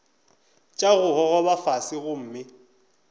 tša go gogoba fase gomme